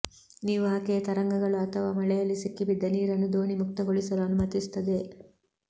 ನೀವು ಆಕೆಯ ತರಂಗಗಳು ಅಥವಾ ಮಳೆಯಲ್ಲಿ ಸಿಕ್ಕಿಬಿದ್ದ ನೀರನ್ನು ದೋಣಿ ಮುಕ್ತಗೊಳಿಸಲು ಅನುಮತಿಸುತ್ತದೆ